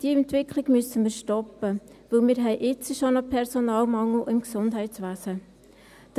Diese Entwicklung müssen wir stoppen, weil wir jetzt schon einen Personalmangel im Gesundheitswesen haben.